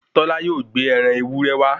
Tọ́lá yóò gbé ẹran ewúré wá